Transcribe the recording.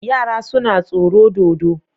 Yara suna tsoro dodo